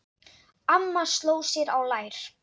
Amma sló sér á lær.